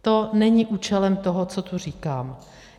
To není účelem toho, co tu říkám.